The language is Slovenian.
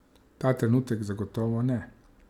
Ta trenutek zagotovo ne.